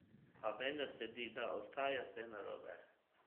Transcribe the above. A vendar se zdi, da ostaja vse narobe.